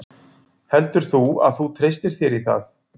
Heldur þú að þú treystir þér í það?